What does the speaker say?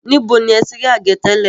Níbo ni ẹ ti rí àgé tẹ́lẹ̀?